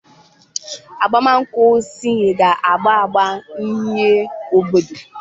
Agbamakwụkwọ Seyi ga-agba agba uhie obodo!